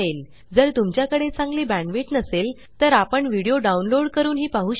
जर तुमच्याकडे चांगली बॅंडविड्त नसेल तर व्हिडीओ डाउनलोड करूनही पाहू शकता